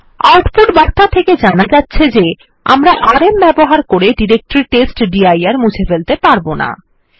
output বার্তা থেকে জানা যাচ্ছে যে আমরা আরএম ব্যবহার করে ডিরেক্টরি টেস্টডির মুছে ফেলতে পারব না